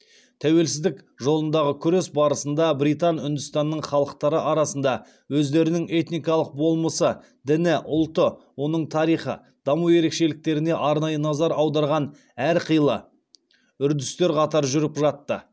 тәуелсіздік жолындағы күрес барысында британ үндістанының халықтары арасында өздерінің этникалық болмысы діні ұлты оның тарихи даму ерекшеліктеріне арнайы назар аударған әрқилы үрдістер қатар жүріп жатты